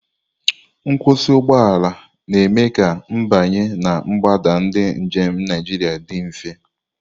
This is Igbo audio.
Nkwụsị ụgbọ ala na-eme ka ịbanye na mgbada ndị njem Naijiria dị mfe.